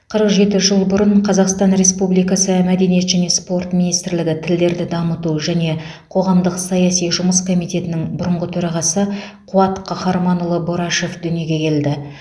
қырық жеті жыл бұрын қазақстан республикасы мәдениет және спорт министрлігі тілдерді дамыту және қоғамдық саяси жұмыс комитетінің бұрынғы төрағасы қуат қаһарманұлы борашев дүниеге келді